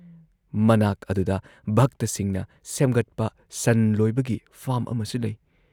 ꯃꯅꯥꯛ ꯑꯗꯨꯗ ꯚꯛꯇꯁꯤꯡꯅ ꯁꯦꯝꯒꯠꯄ ꯁꯟ ꯂꯣꯏꯕꯒꯤ ꯐꯥꯔꯝ ꯑꯃꯁꯨ ꯂꯩ ꯫